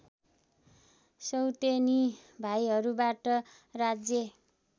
सौतेनी भाइहरूबाट राज्य